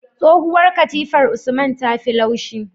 Tsohuwar katifar usman tafi laushi